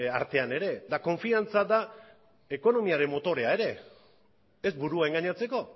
artean ere eta konfidantza da ekonomiaren motorea ere ez burua engainatzeko